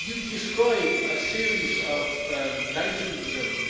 You describe a series of nations and